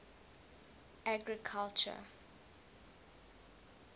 agriculture